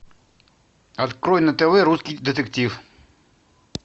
открой на тв русский детектив